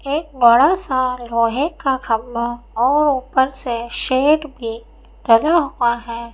एक बड़ा सा लोहे का खंबा और एक ऊपर से शेड भी लगा हुआ है।